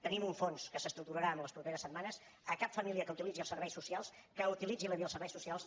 tenim un fons que s’estructurarà en les properes setmanes a cap família que utilitzi els serveis socials que utilitzi la via dels serveis socials